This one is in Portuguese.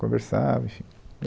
Conversava, enfim.